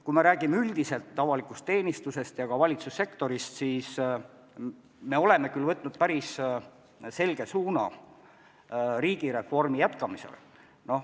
Kui me räägime üldiselt avalikust teenistusest ja ka valitsussektorist, siis me oleme võtnud päris selge suuna riigireformi jätkamisele.